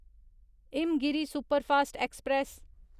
Himgiri superfast express